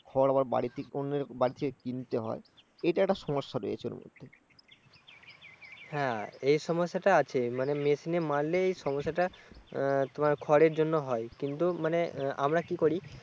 খড় আবার বাড়তি করে কিনতে হয়। এটা একটা সমস্যা রয়েছে এর মধ্যে। হ্যাঁ এই সমস্যাটা আছে মানে মেশিনে মাড়লে এই সমস্যাটা তোমার খড়ের জন্য হয়। কিন্তু মানে আমরা কি করি